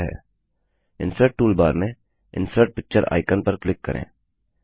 insert toolbar में insert picture icon insert picture icon पर click करें